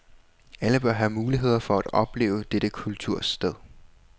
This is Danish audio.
Alle bør have muligheder for at opleve dette kultursted.